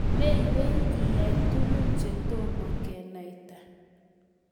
Meywei iyai tugun chetomo kenaita?